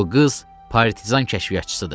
Bu qız partizan kəşfiyyatçısıdır.